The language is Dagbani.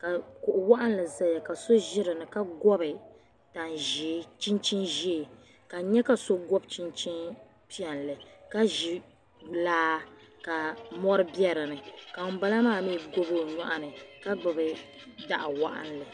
ka kuɣuwaɣili zaya ka so zi dini ka gobi. tanzɛɛ chinchini zɛɛ ka n. nyɛ kaso bɔbi piɛli ka zi laa ka mɔri bedini ka ŋun bala maa mi gobi o nyɔɣini ka gbubi daɣu waɣiŋli